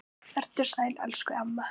Vertu sæl elsku amma.